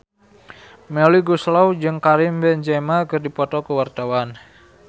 Melly Goeslaw jeung Karim Benzema keur dipoto ku wartawan